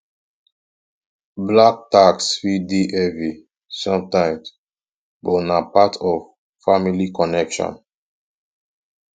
black tax fit dey heavy sometimes but na part of family connection